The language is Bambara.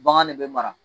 Bagan ne bɛ mara